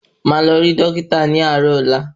Máà lọ rí Dókítà ní àárò ọ̀la